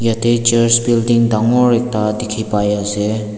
yatae Church building dangor ekta dikhipaiase.